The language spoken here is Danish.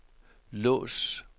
lås